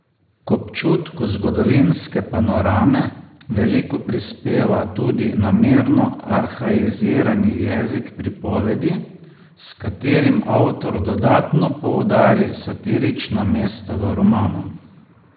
K občutku zgodovinske panorame veliko prispeva tudi namerno arhaizirani jezik pripovedi, s katerim avtor dodatno poudari satirična mesta v romanu.